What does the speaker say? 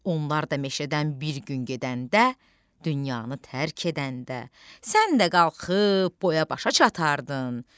Onlar da meşədən bir gün gedəndə, dünyanı tərk edəndə, sən də qalxıb boya-başa çatardın,